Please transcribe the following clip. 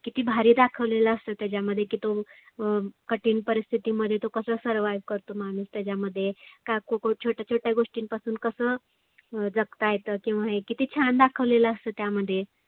किती भारी दाखवलेलं असतं त्याच्यामध्ये की तो अं कठीन परिस्थीती मध्ये तो कसं survive करतो माणुस त्याच्यामध्ये. त्यातुन छोट्या छोट्या गोष्टींपासून कसं जगता येतं किंवा हे किती छान दाखवलेलं असतं त्यामध्ये.